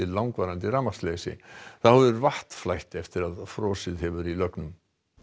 langvarandi rafmagnsleysi þá hefur vatn flætt eftir að frosið hefur í lögnum